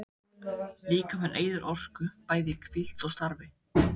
Líkaminn eyðir orku, bæði í hvíld og starfi.